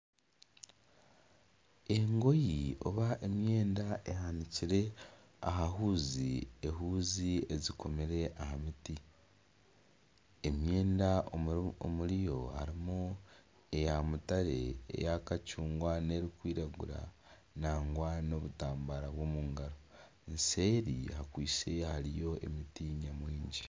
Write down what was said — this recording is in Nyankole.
Engoyi oba emyenda ehanikire aha huuzi, ehuuzi ezikomire aha miti emyenda omuriyo harimu eya mutaare eya kacungwa n'erikwiragura nagwa n'obutambara bw'omu ngaro eseeri hakwitse hariho emiti nyamwingi.